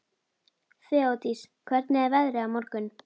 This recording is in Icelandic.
Þeódís, hvernig er veðrið á morgun?